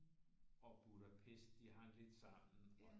Og Budapest de hang lidt sammen